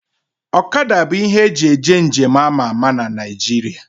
Ọkada bụ ihe eji eje nje m ama ama na Naijiria